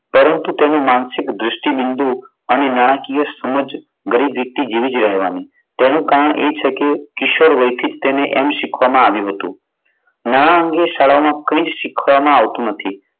પરંતુ તેની માનસિક દૃષ્ટિબિંદુ અને નાણાકીય સમજ ગરીબ વ્યક્તિ જેવી જ રહેવાની. તેનું કારણ એ છે કે કિશોર વહીથી એને એમ શીખવામાં આવ્યું હતું. નાણાં અંગે શાળાઓમાં કઈ શીખવામાં આવતું નથી.